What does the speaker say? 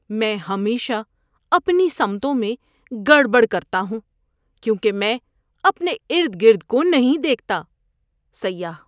میں ہمیشہ اپنی سمتوں میں گڑبڑ کرتا ہوں کیونکہ میں اپنے ارد گرد کو نہیں دیکھتا۔ (سیاح)